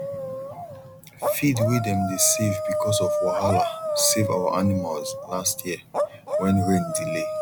feed way dem dey save because of wahala save our animals last year when rain delay